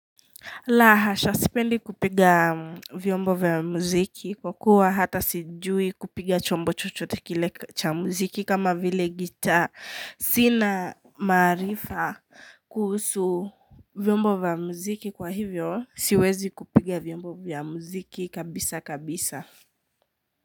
La hasha, sipendi kupiga vyombo vya muziki kwa kuwa hata sijui kupiga chombo chochote kile cha mziki kama vile gitaa. Sina maarifa kuhusu vyombo vya muziki kwa hivyo, siwezi kupiga vyombo vya muziki kabisa kabisa.